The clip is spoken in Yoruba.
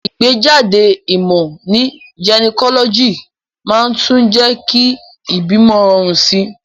Ìgbéjáde ìmò ní gynecology màá tún jé kí ìbímo rorùn sí